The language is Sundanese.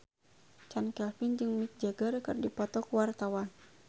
Chand Kelvin jeung Mick Jagger keur dipoto ku wartawan